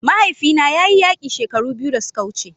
Mahaifina ya yi yaƙi shekaru biyu da suka wuce